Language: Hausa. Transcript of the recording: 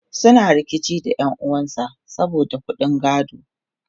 suna rikici da ƴan'uwan sa saboda ƙuɗin gado